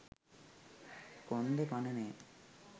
කොන්ද පණ නෑ